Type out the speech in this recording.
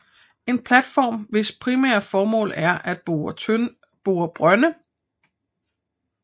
En platform hvis primære formål er at bore brønde